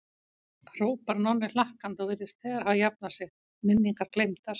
hrópar Nonni hlakkandi og virðist þegar hafa jafnað sig, minningar gleymdar.